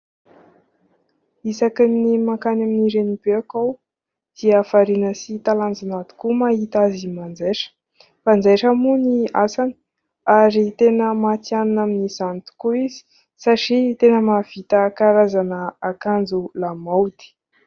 Isakin'ny mankany amin'i renibeko aho dia variana sy talanjona tokoa mahita azy manjaitra. Mpanjaitra moa ny asany ary tena matihanina amin'izany tokoa izy satria tena mahavita karazana akanjo lamaody.